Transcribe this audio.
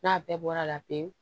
N'a bɛɛ bɔra la pewu